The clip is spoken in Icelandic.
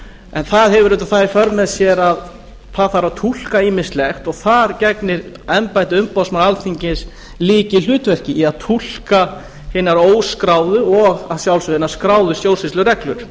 en það hefur auðvitað það í för með sér að það þarf að túlka ýmislegt og þar gegnir embætti umboðsmanns alþingis lykilhlutverki í að túlka hinar óskráðu og að sjálfsögðu hinar skráðu stjórnsýslureglur